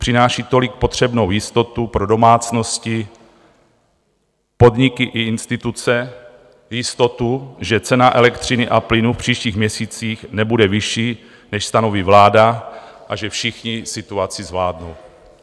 Přináší tolik potřebnou jistotu pro domácnosti, podniky i instituce, jistotu, že cena elektřiny a plynu v příštích měsících nebude vyšší, než stanoví vláda, a že všichni situaci zvládnou.